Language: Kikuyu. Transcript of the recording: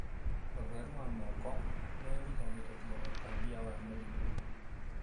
ũtheru wa moko nĩ ũgiragĩrĩria ũtambia wa mĩrimũ.